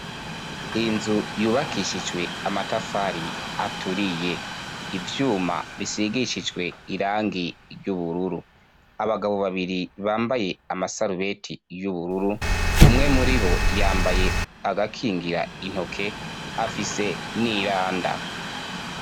Inzu yubakishijwe amatafari aturiye ivyuma bisigishijwe irangi ry'ubururu abagabo babiri bambaye amasarubeti y'ubururu umwe muri bo yambaye agakingira intoke afise n'iranda.